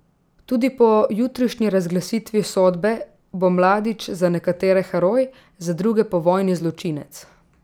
Tudi po jutrišnji razglasitvi sodbe bo Mladić za nekatere heroj, za druge pa vojni zločinec.